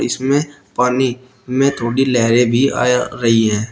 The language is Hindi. इसमें पानी में थोड़ी लहरें भी आया रही हैं।